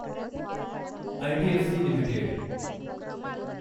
IDFC limited